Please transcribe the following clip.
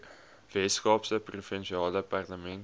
weskaapse provinsiale parlement